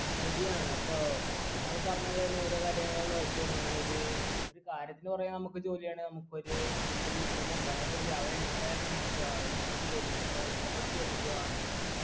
ശരിയാണ് അപ്പൊ താങ്കൾ പറഞ്ഞ പോലെന്നെ ഓരോ കാര്യങ്ങൾ നോക്കേം അങ്ങനെയൊരു ഒരു കാര്യത്തിന്ന് പറയണ നമുക്ക് ജോലിയാണെ നമുക്കൊരു ഒരു ഗുണുണ്ട് നമുക്ക് രാവിലെ എണീക്കാൻ നേരം തന്നെ നമ്മക്ക് ആ ഇഷ്ട്ടപെട്ട ജോലിയല്ലേ ഇത്രൊ ഇഷ്ടപ്പെട്ട് ജോലിക്ക് പോവാന്നായിരിക്കും